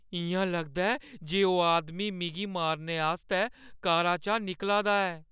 इ'यां लगदा ऐ जे ओह् आदमी मिगी मारने आस्तै कारा चा निकला दा ऐ।